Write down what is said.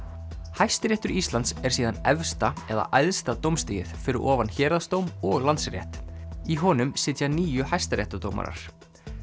Hæstiréttur Íslands er síðan efsta eða æðsta dómstigið fyrir ofan héraðsdóm og Landsrétt í honum sitja níu hæstaréttardómarar